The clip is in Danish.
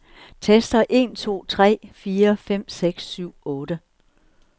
Tester en to tre fire fem seks syv otte.